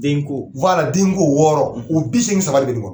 Den ko, den ko wɔɔrɔ o bi seegin saba de be nin kɔnɔ.